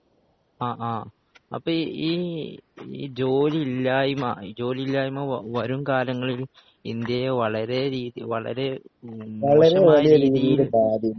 ആഹ് ആഹ് അപ്പോ ഈ ഈ ജോലിയില്ലായ്‌മ ജോലിയില്ലായ്‌മ വവരുംകാലങ്ങളിൽ ഇന്ത്യയെ വളരെരീതി വളരെ മോശമായ രീതിയിൽ